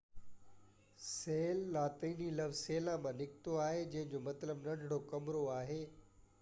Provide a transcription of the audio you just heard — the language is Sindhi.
سيل لاطيني لفظ سيلا مان نڪتو آهي جنهن جو مطلب ننڍڙو ڪمرو آهي